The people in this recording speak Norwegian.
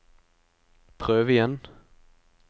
prøv igjen